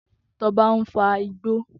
Toba n fà igbó